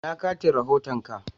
Ina katin rahoton ka?